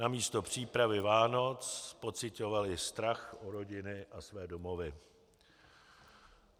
Namísto přípravy Vánoc pociťovali strach o rodiny a své domovy.